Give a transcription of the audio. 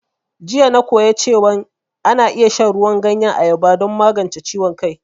Jiya na koya cewan ana iya shan ruwan ganyen ayaba don magance ciwon kai